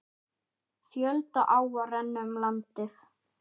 Fjölda áa renna um landið.